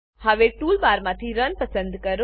હવે ટૂલ બારમાંથી run run પસંદ કરો